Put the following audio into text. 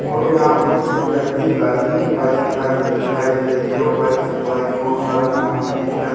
और यहाँ पर कुछ अजीब टाइप की गाड़ी बाइक दिखाई दे रही है और बाइक मे बोहोत सारा सामान भी दिखाई--